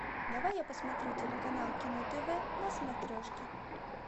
давай я посмотрю телеканал кино тв на смотрешке